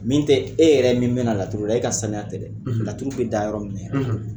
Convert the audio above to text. Min tɛ e yɛrɛ min bɛna laturu da e ka sanuya tɛ dɛ turu bɛ da yɔrɔ min na